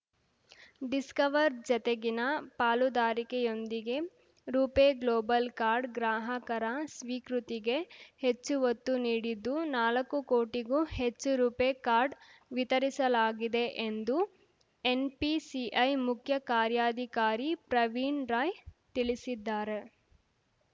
Discover ಜತೆಗಿನ ಪಾಲುದಾರಿಕೆಯೊಂದಿಗೆ RuPay global card ಗ್ರಾಹಕರ ಸ್ವೀಕೃತಿಗೆ ಹೆಚ್ಚು ಒತ್ತು ನೀಡಿದ್ದು ನಾಲ್ಕು ಕೋಟಿಗೂ ಹೆಚ್ಚು ರೂಪೆ ಕಾರ್ಡ್ ವಿತರಿಸಲಾಗಿದೆ ಎಂದು ಎನ್‌ಪಿಸಿಐ ಮುಖ್ಯ ಕಾರ್ಯಾಧಿಕಾರಿ ಪ್ರವೀಣ್ ರೈ ತಿಳಿಸಿದ್ದಾರೆ